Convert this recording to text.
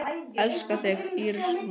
Elska þig, Íris Rún.